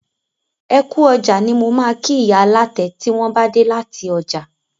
Ẹkú ọjà ni mo ma kí ìyá alátẹ tí wọn bá dé láti ọjà